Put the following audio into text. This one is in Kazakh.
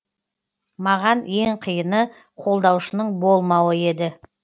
маған ең қиыны қолдаушының болмауы еді